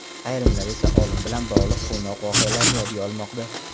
Ayrimlar esa olim bilan bog‘liq quvnoq voqealarni yodga olmoqda.